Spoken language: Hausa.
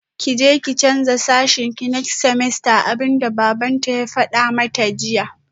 Kije ki canza sashenki next semester abinda babanta ya fada mata jiya